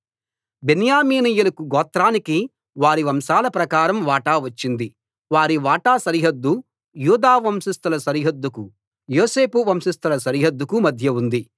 బెన్యామీనీయుల గోత్రానికి వారి వంశాల ప్రకారం వాటా వచ్చింది వారి వాటా సరిహద్దు యూదా వంశస్థుల సరిహద్దుకు యోసేపు వంశస్థుల సరిహద్దుకు మధ్య ఉంది